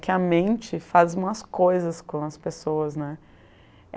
Que a mente faz umas coisas com as pessoas, né?